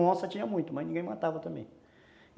E onça tinha muito, mas ninguém matava também.